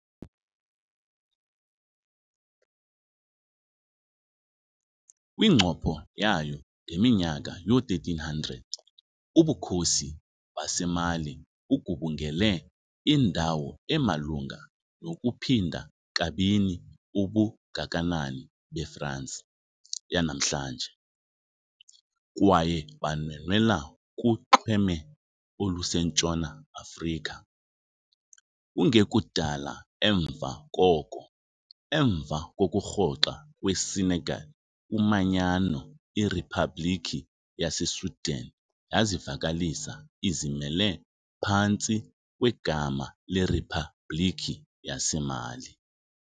Kwincopho yayo, ngeminyaka yoo-1300s, ubukhosi baseMali bugubungele indawo emalunga nokuphinda kabini ubungakanani beFransi yanamhlanje, kwaye banwenwela kunxweme olusentshona Afrika. Kungekudala emva koko, emva kokurhoxa kweSenegal kumanyano, iRiphabhlikhi yaseSudan yazivakalisa izimele phantsi kwegama leRiphabhlikhi yaseMali.